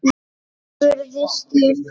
spurði Stefán.